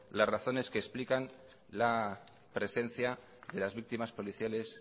las razones que explican la presencia de las víctimas policiales